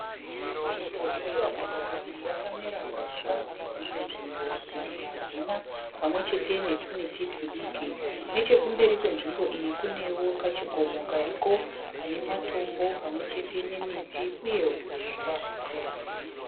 Nzvimbo irikuratidza kuti yakamera huswa mune dzimwe nzvimbo dzimwe hadzina pamwechete netumiti tudiki. Nechekumberi kwenzvimbo iyi kunewo kachikomo kariko kane matombo pamwechete nemiti uye huswa.